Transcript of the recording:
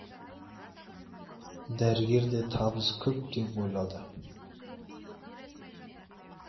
дәрігерде табыс көп деп ойлады